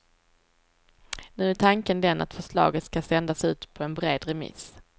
Nu är tanken den att förslaget skall sändas ut på en bred remiss.